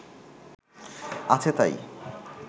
আছে তাই